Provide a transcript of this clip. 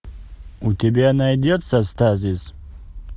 у тебя найдется стазис